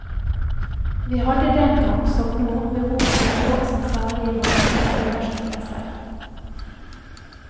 Vi hadde den gang, som nå, behov for en lov som særlig ivaretar kvinners interesser.